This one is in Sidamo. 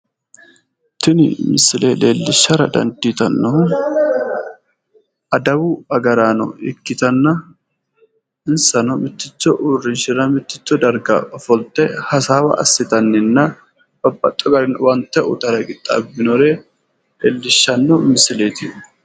Tini misile leellishshannohu dandiitannohu adawu agaraano ikkitinainsano mitticho uurrrinshira mitticho darga ofolte hasaawa assitanni noore babbaxeewo garinni owaante uytara qixxaabinore leellishshanno misileeti.